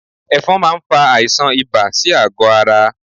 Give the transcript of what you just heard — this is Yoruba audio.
Ẹ̀fọn máa ń fa àìsàn ibà sí àgọ́ ara